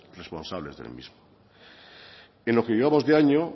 responsables del mismo en lo que llevamos de año